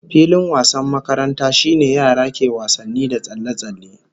Filin wasan makaranta shine yara ke wasanni da tsalle-tsalle